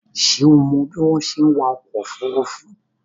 Ṣé o mọ bí wọ́n ṣe ń wa ọkọ̀ òfurufú?